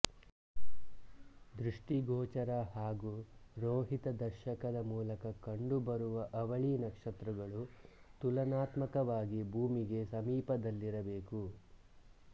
ದೃಷ್ಟಿಗೋಚರ ಹಾಗು ರೋಹಿತದರ್ಶಕದ ಮೂಲಕ ಕಂಡು ಬರುವ ಅವಳಿ ನಕ್ಷತ್ರಗಳು ತುಲನಾತ್ಮಕವಾಗಿ ಭೂಮಿಗೆ ಸಮೀಪದಲ್ಲಿರಬೇಕು